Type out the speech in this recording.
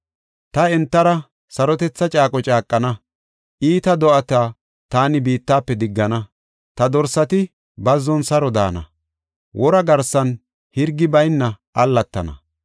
“Ta entara sarotetha caaqo caaqana; iita do7ata taani biittafe diggana; ta dorsati bazzon saro daana; wora garsan hirgi bayna allatana.